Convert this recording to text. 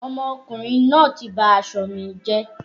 Ọmọkùnrin náà ti ba aṣọ mi jẹ́.